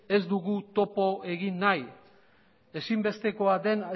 ez dugu topo egin nahi ezinbestekoa den